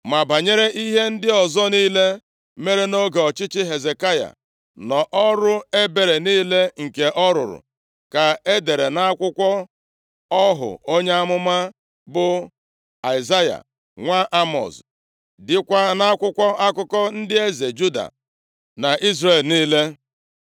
Ma banyere ihe ndị ọzọ niile mere nʼoge ọchịchị Hezekaya, na ọrụ ebere niile nke ọ rụrụ ka edere nʼakwụkwọ ọhụ onye amụma bụ Aịzaya, nwa Emọz, dịkwa nʼakwụkwọ akụkọ ndị eze Juda na Izrel niile.